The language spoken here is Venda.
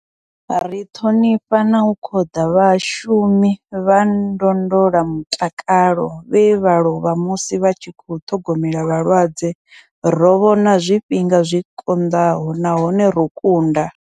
Ri ṱhonifha na u khoḓa vhashumi vha ndondolamutakalo vhe vha lovha musi vha tshi khou ṱhogomela vhalwadze. Ro vhona zwifhinga zwi konḓaho nahone ro kunda.